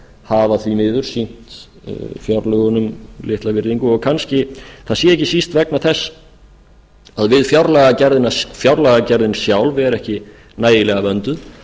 hafa því miður sýnt fjárlögunum litla virðingu og kannski það sé ekki síst vegna þess að fjárlagagerðin sjálf er ekki nægilega vönduð